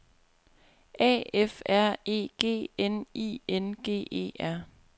A F R E G N I N G E R